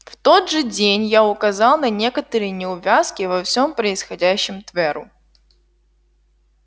в тот же день я указал на некоторые неувязки во всём происходящем тверу